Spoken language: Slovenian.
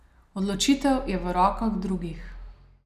Odločitev je v rokah drugih.